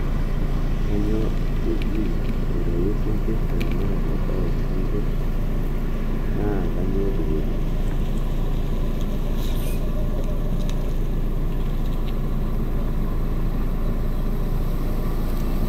kanyioo eji aitayu sinkirr te ramatare oo sinkirr naa kanyioo dupoto